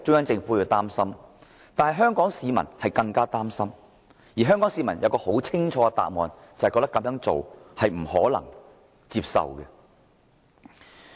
但是，香港市民更為擔心，因為香港市民很清楚，中聯辦這做法是不可接受的。